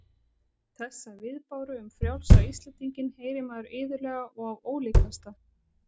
Þessa viðbáru um frjálsa Íslendinginn heyrir maður iðulega og af ólíkasta